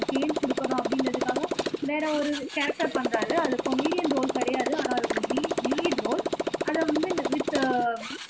change கொடுக்கணும் அப்படின்றதுக்காக வேற ஒரு கேரக்டர் பண்றாரு அது காமிடியன் ரோல் கிடையாது ஆனால் அது ஒரு லீ லீடு ரோல் அதை வந்து இந்த வித்